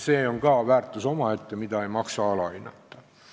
See on ka väärtus omaette, mida ei maksa alahinnata.